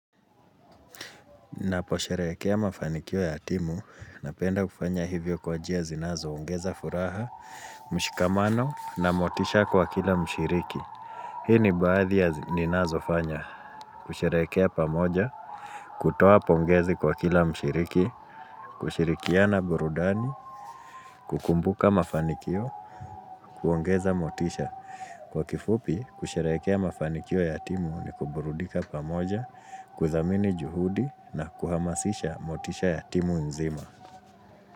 Naposherehekea mafanikio ya timu, napenda kufanya hivyo kwa njia zinazo ongeza furaha, mshikamano na motisha kwa kila mshiriki. Hii ni baadhi ya ninazofanya, kusherehekea pamoja, kutoa pongezi kwa kila mshiriki, kushirikiana burudani, kukumbuka mafanikio, kuongeza motisha. Kwa kifupi, kusherehekea mafanikio ya timu ni kuburudika pamoja, kuzamini juhudi na kuhamasisha motisha ya timu nzima.